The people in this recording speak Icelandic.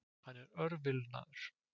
Hann er örvilnaður.